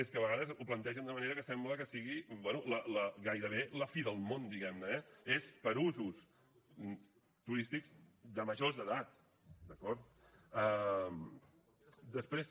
és que de vegades ho plantegen d’una manera que sembla que sigui bé gairebé la fi del món diguem ne eh és per a usos turístics de majors d’edat d’acord després